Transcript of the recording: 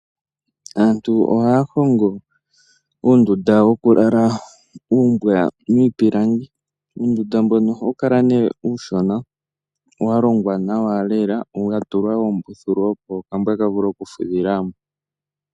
Aantu ohaya hongo uundunda woku lala wuumbwa miipilangi, uundunda mbono ohawu kala ne uushona walongwa nawa lela mwa tulwa oombuthulu opo okambwa kavule oku fudhila mo.